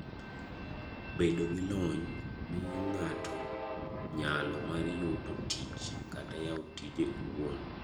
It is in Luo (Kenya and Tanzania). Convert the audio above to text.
Bedo gi lony miyi ng'ato nyalo mar yudo tich kata yawo tije owuon.